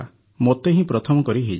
ମୋତେ ହିଁ ପ୍ରଥମକରି ହେଇଛି